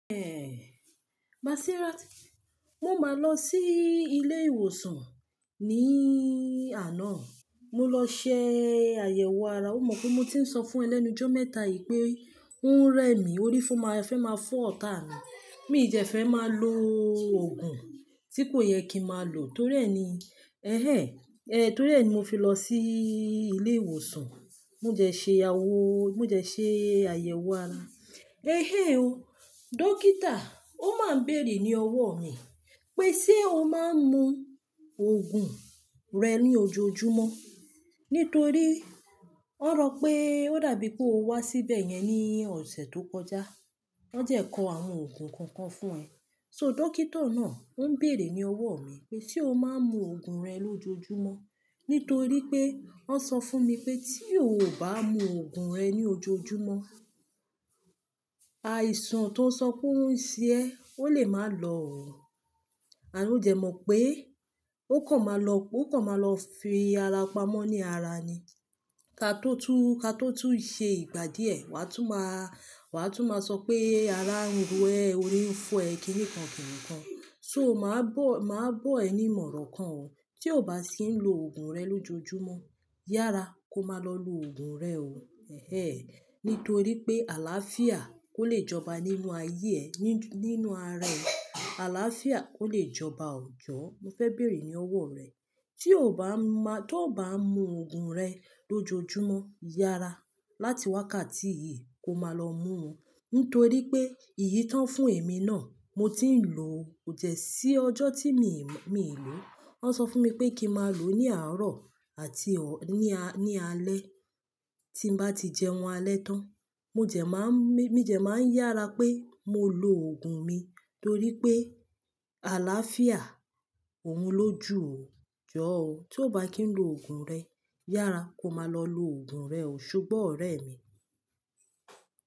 Èhè, Masira, mo máa lọ sí ilé ìwòsàn ní àná. Mo lọ ṣe àyẹ̀wò ara. O mọ̀ pé mo ti ń sọ fún ẹ lẹ́nu jọ́ mẹ́ta yìí pé n rẹ mi, orí fẹ́ máa fọ́ ọ̀tá mi. Mi jẹ fẹ́ máa lo òògùn tí kò yẹ kín màá lò torí ẹ ni, ẹhẹ ẹ, torí ẹ ni mo fi lọ sí ilé ìwòsàn. Mo jẹ̀ ṣe awọ, mo jẹ̀ ṣe àyẹ̀wò ara. Ehé o, dókítà ó máa ń bèèrè ní ọwọ́ mi pé ṣé o máa ń mu òògùn rẹ ní ojoojúmọ́? Nítorí ó rọ pé ó dàbí pé o wá síbẹ̀ yẹn ní ọ̀sẹ̀ tó kọjá. Wọ́n jẹ kó àwọn òògùn kan kan fún ẹ. So dókítà náà ń bèèrè ní ọwọ́ mi pé ṣé o máa ń mu òògùn rẹ lójoojúmọ́? Nítorí pé wọ́n sọ fún mi pé tí o ò bá mu òògùn rẹ ní ojoojúmọ́, àìsàn tó ń sọ pé ó ń ṣe ẹ́ ó lè máa lọ, à ló jẹ mọ̀ pé ó kàn máa lọ, ó kàn máa lọ fi ara pamọ́ ní ara ni. Ka tó tún, ka tó tún ṣe ìgbà díẹ̀, wà á tún máa, wà á tún máa sọ pé ara ń ro ẹ, orí ń fọ́ ẹ kí nìkan kí nǹkan. So màá bọ̀, màá bọ̀ ẹ ní ìmọ̀ràn kan, tí o ò bá sì ń lo òògùn rẹ lójoojúmọ́, yára kó máa lọ lo òògùn rẹ o, ẹhẹ ẹ. Nítorí pé àlàáfíà kò lè jọba nínú ayé ẹ, nínú ara ẹ. Àlàáfíà kò lè jọba ọ̀jọ́. Mo fẹ́ bèèrè ní ọwọ́ rẹ, tí o ò bá ń máa, tí o ò bá ń mu òògùn rẹ lójoojúmọ́, yára láti wákàtí yìí kó máa lọ mú un. Nítorí pé èyí tí wọ́n fún èmi náà mo ti ń lò ko jẹ sí ọjọ́ tí mi, mi ò lò ó. Wọ́n sọ fún mi pé kí màá lò ó ní àárọ̀ àti ọ̀, ní, ní alẹ́ tí n bá ti jẹun alẹ́ tán. Mo jẹ̀ máa ń, mi jẹ̀ máa ń yára pé mo lo òògùn mi torí pé àlàáfíà òun lójú o, jọ ọ́. Tí o bá kì ń lo òògùn rẹ, yára kó máa lọ lo òògùn rẹ o ṣógbọ ọ̀rẹ́ mi.